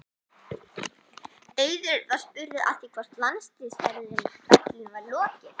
Eiður var spurður að því hvort landsliðsferlinum væri lokið?